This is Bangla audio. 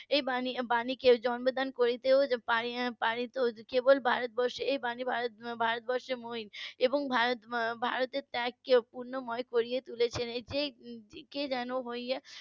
এই বাণী~ বাণীকে জন্মদান করতে পারতো কেবল ভারতবর্ষ এই বাণী ভারতবর্ষের . এবং ভারতের ত্যাগকে পুণ্যময় করে তুলেছে .